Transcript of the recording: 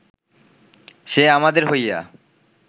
সে আমাদের হইয়া